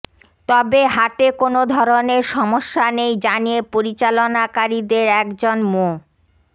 তবে হাটে কোনো ধরনের সমস্যা নেই জানিয়ে পরিচালনাকারীদের একজন মো